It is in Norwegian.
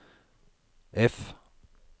F